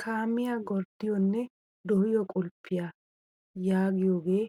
Kaamiyaa gorddiyoonne dooyiyoo qulppiyaa yaagiyoogee